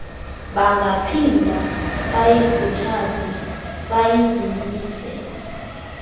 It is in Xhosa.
bangaphinda bayikhuthaze bayizinzise